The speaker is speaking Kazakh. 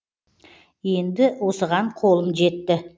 енді осыған қолым жетті